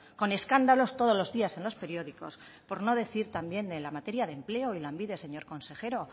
con escándalos todos los días en los periódicos por no decir también en la materia de empleo y lanbide señor consejero